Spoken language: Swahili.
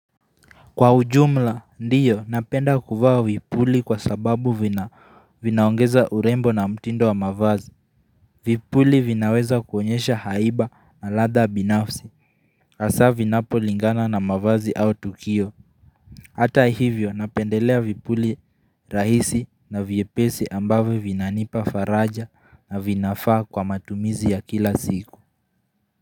Kwa ujumla, ndiyo, napenda kuvaa vipuli kwa sababu vinaongeza urembo na mtindo wa mavazi. Vipuli vinaweza kuonyesha haiba na ladha binafsi, hasa vinapo lingana na mavazi au tukio. Hata hivyo, napendelea vipuli rahisi na vyepesi ambavyo vinanipa faraja na vinafaa kwa matumizi ya kila siku.